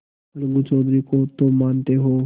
अलगू चौधरी को तो मानते हो